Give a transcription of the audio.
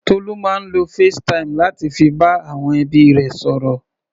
Tolú máa ń lo facetime láti fi bá àwọn ẹbí rẹ̀ sọ̀rọ̀.